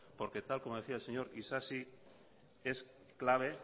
porque tal y como decía el señor isasi es clave